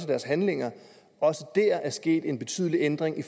deres handlinger sket en betydelig ændring i